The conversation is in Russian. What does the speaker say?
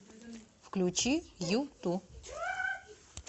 включи юту